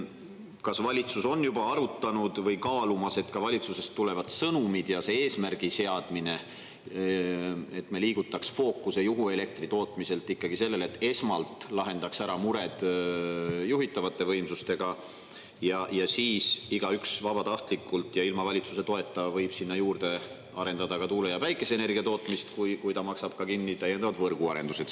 Kas valitsus on juba arutanud või kaalumas, et ka valitsusest tulevad sõnumid ja see eesmärgi seadmine, et me liigutaks fookuse juhuelektri tootmiselt ikkagi sellele, et esmalt lahendaks ära mured juhitavate võimsustega ja siis igaüks vabatahtlikult ja ilma valitsuse toeta võib sinna juurde arendada ka tuule- ja päikeseenergia tootmist, kui ta maksab ka kinni täiendavad võrguarendused?